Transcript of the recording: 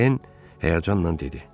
Den həyəcanla dedi.